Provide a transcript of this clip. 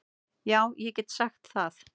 Já ég get sagt það.